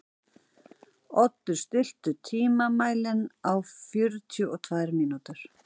Oddur, stilltu tímamælinn á fjörutíu og tvær mínútur.